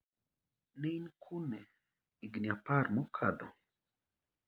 Ne in kune igni apar mokadho?